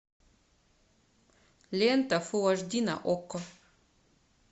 лента фул аш ди на окко